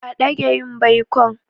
A dage yin baikon.